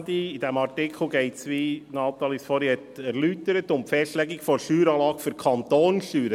In diesem Artikel geht es, wie Natalie Imboden vorhin erläutert hat, um die Festlegung der Steueranlage für die Kantonssteuern;